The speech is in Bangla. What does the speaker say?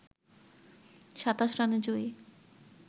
২৭ রানে জয়ী